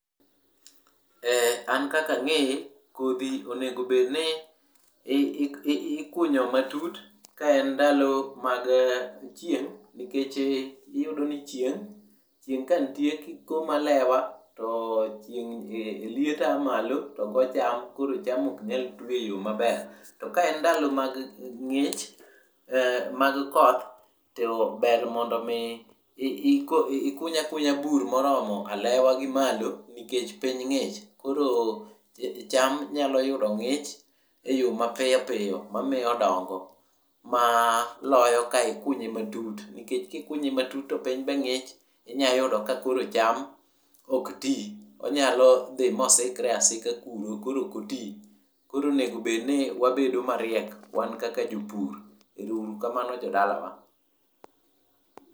An kaka ang'eye, kodhi onego obedni ikunyo matut ka en ndalo mag chieng' nikech iyudo ni chieng', chieng' kanitie kikomo alewa to liet ya malo to go cham to koro cham ok nyal twi e yo maber. To ka en ndalo mag ng'ich, mag koth to ber mondo omi ikuny akunya bur moromo alewa gimalo nikech piny ng'ich koro cham nyalo yudo ng'ich e yo mapiyo piyo mamiyo odongo, maloyo ka ikunye matut nikech kikunye matut to piny be ng'ich inya yudo ka koro cham ok ti, onyalo dhi mo sikre asika kuro koro ok oti. Koro onego bed ni wabedo mariek wan kaka jopur. Ero uru kamano jodalawa.